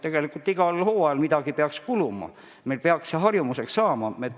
Tegelikult peaks neid igal hooajal kuluma, meil peaks nende kasutamine harjumuseks saama.